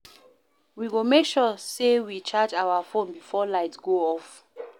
We go make sure sey we charge our fone before light go off.